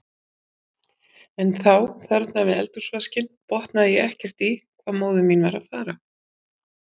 En þá, þarna við eldhúsvaskinn, botnaði ég ekkert í hvað móðir mín var að fara.